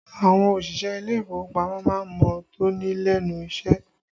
Àwọn òṣìṣẹ́ ilé ìfowópamọ́ má ń mọ́ tóní lẹ́nu iṣẹ́